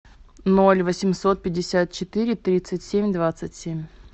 ноль восемьсот пятьдесят четыре тридцать семь двадцать семь